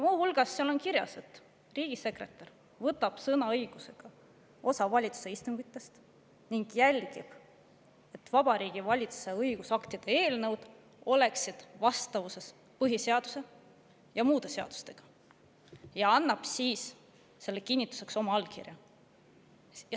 Muu hulgas on seal kirjas, et riigisekretär võtab sõnaõigusega osa valitsuse istungitest ning jälgib, et Vabariigi Valitsuse õigusaktide eelnõud oleksid vastavuses põhiseaduse ja muude seadustega, ning annab siis selle kinnituseks oma allkirja.